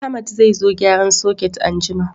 Ahmad zai zo gyaran soket anjima